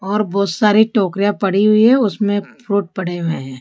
और बहोत सारे टोकरियां पड़ी हुई है उसमें फ्रूट पड़े हुए हैं।